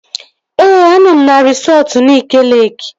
Ee, anọ m na resọtu Nike Leeki